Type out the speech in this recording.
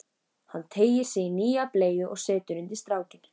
Hann teygir sig í nýja bleyju og setur undir strákinn.